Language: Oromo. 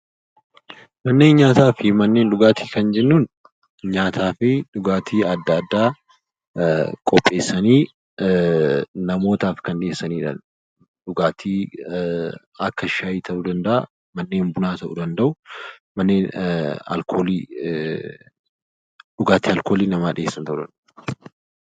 Manneen nyaataa fi manneen dhugaatii kan jennuun nyaataa fi dhugaatii adda addaa qopheessanii kan dhiyeessanidha. Dhugaatii akka shayii ta'uu danda'a, manneen bunaa ta'uu danda'u, manneen alkoolii dhugaatii alkoolii namaa dhiyeessuu ta'uu danda'u.